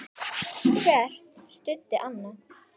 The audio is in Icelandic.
Hver studdi annan.